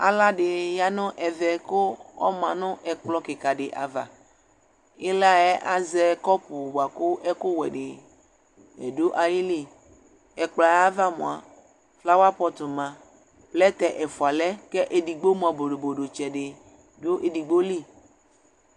Aɣla dɩ ya nʋ ɛvɛ kʋ ɔma nʋ ɛkplɔ kɩka dɩ ava Ɩla yɛ azɛ kɔpʋ dɩ kʋ ɛkʋwɛ dɩ dʋ ayili Ɛkplɔ yɛ ava mʋa, flawa pɔt ma, plɛtɛ ɛfʋa lɛ kʋ edigbo mʋa, bodobodotsɛ dɩ dʋ edigbo li